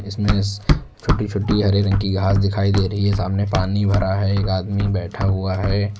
इसमें छोटी छोटी हरे रंग की घास दिखाई दे रही है सामने पानी भरा है एक आदमी बैठा हुआ है।